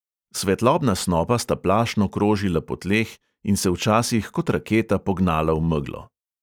Svetlobna snopa sta plašno krožila po tleh in se včasih kot raketa pognala v meglo.